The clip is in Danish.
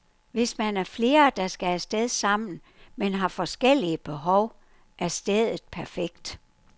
Hvis man er flere, der skal af sted sammen, men har forskellige behov, er stedet perfekt.